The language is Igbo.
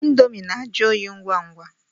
Índomi na-ajụ óyi ngwa ngwa.